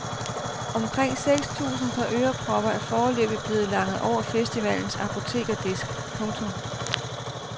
Omkring seks tusind par ørepropper er foreløbig blevet langet over festivalens apotekerdisk. punktum